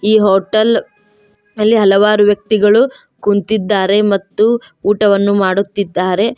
ಈ ಹೋಟೆಲ್ ಅಲ್ಲಿ ಹಲವಾರು ವ್ಯಕ್ತಿಗಳು ಕುಂತಿದ್ದಾರೆ ಮತ್ತು ಊಟವನ್ನು ಮಾಡುತ್ತಿದ್ದಾರೆ.